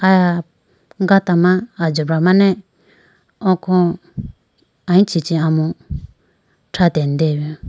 Aya gata ma ajobra mane oko aluchi chi amu tratene deyibi.